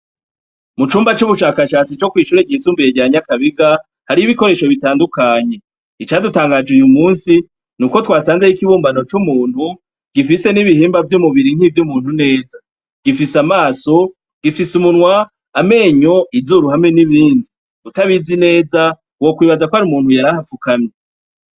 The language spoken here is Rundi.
Mucumba c'ubushakashatsi co kw'ishure ryisumbuye rya Nyakabiga, hariyo ibikoresho bitandukanye. icadutangaje uyu musi, nuko twasanzeyo ikibumbano c'umuntu, gifise n'ibihimba vy'umubiri nk'ivy'umuntu neza. Gifise amaso, gifise umunwa, amenyo, izuru hamwe n'ibindi. Utabizi neza, wokwibaza ko ari umuntu yari ahafukamye.